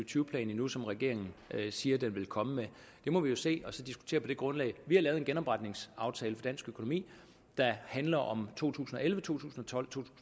tyve plan endnu som regeringen siger den vil komme med det må vi jo se og så diskutere på det grundlag vi har lavet en genopretningsaftale for dansk økonomi der handler om to tusind og elleve to tusind og tolv